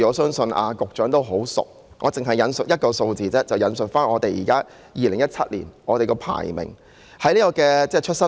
相信局長對有關數字相當熟悉，而我只想引述2017年的出生率以作說明。